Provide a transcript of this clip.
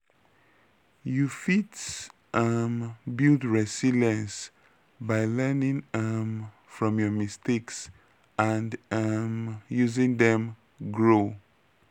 you fit um build resilience by learning um from your mistakes and um using dem grow.